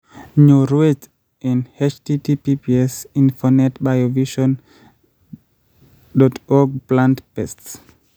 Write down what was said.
nyorwet: https://infonet-biovision.org/plant_pests